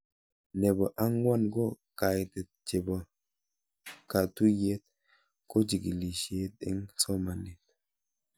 Nepo ang'wan ko kaitet chepo katuyet ko kikichikil eng' somanet